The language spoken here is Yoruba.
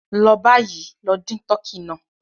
Lọ bayì, lọ dìn tọkí náà!